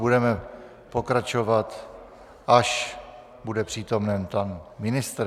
Budeme pokračovat, až bude přítomen pan ministr.